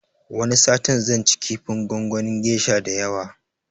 Wani satin zan ci kifin gongonin gesha da yawa